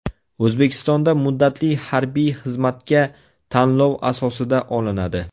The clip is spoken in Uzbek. O‘zbekistonda muddatli harbiy xizmatga tanlov asosida olinadi.